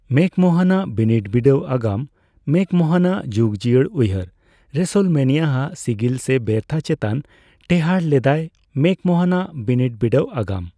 McMahon ᱟᱜ ᱵᱤᱱᱤᱰᱼᱵᱤᱰᱟᱹᱣ ᱟᱜᱟᱢ ᱢᱮᱠᱢᱳᱦᱚᱱ ᱟᱜ ᱡᱩᱜᱽᱡᱤᱭᱟᱹᱲ ᱩᱭᱦᱟᱹᱨ ᱨᱮᱥᱚᱞᱢᱮᱱᱤᱭᱟ ᱟᱜ ᱥᱤᱜᱤᱞ ᱥᱮ ᱵᱮᱨᱛᱷᱟ ᱪᱮᱛᱟᱱ ᱴᱮᱸᱦᱟᱰ ᱞᱮᱫᱟᱭ ᱢᱮᱠᱢᱳᱦᱚᱱᱟᱜ ᱵᱤᱱᱤᱰᱼᱵᱤᱰᱟᱹᱣ ᱟᱜᱟᱢ ᱾